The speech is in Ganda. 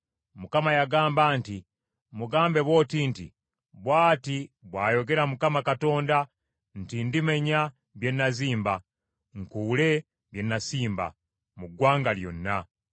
Mukama yagamba nti, “Mugambe bw’oti nti, ‘Bw’ati bw’ayogera Mukama Katonda nti: ndimenya bye nazimba, nkuule bye nasimba, mu ggwanga lyonna.